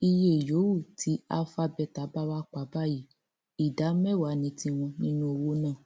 iye yòówù tí alpha beta bá wàá pa báyìí ìdá mẹwàá ní tiwọn nínú owó náà